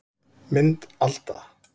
Mynd Alda